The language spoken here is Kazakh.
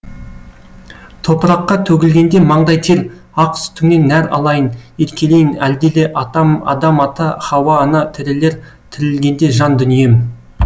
топыраққа төгілгенде маңдай тер ақ сүтіңнен нәр алайын еркелейін әлдиле атам адам ата хауа ана тірілер тірілгенде жан дүнием